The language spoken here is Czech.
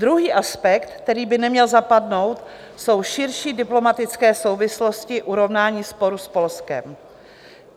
Druhý aspekt, který by neměl zapadnout, jsou širší diplomatické souvislosti urovnání sporu s Polskem.